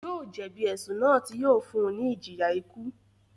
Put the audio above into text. Yóò jẹ̀bi ẹ̀sùn náà tí yóò fún un ní ìjìyà ikú